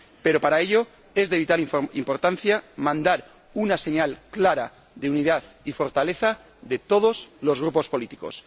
Pero, para ello, es de vital importancia mandar una señal clara de unidad y fortaleza de todos los grupos políticos.